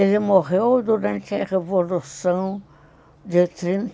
Ele morreu durante a Revolução de trin.